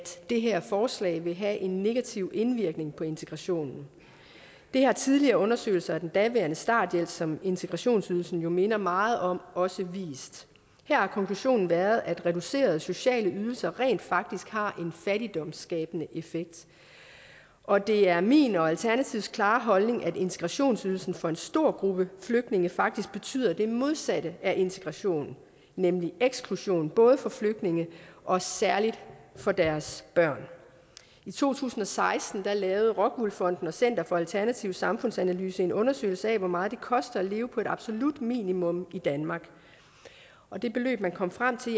det her forslag vil have en negativ indvirkning på integrationen det har tidligere undersøgelser af den daværende starthjælp som integrationsydelsen jo minder meget om også vist her har konklusionen været at reducerede sociale ydelser rent faktisk har en fattigdomsskabende effekt og det er min og alternativets klare holdning at integrationsydelsen for en stor gruppe flygtninge faktisk betyder det modsatte af integration nemlig eksklusion både for flygtninge og særligt for deres børn i to tusind og seksten lavede rockwool fonden og center for alternativ samfundsanalyse en undersøgelse af hvor meget det koster at leve på et absolut minimum i danmark og det beløb man kom frem til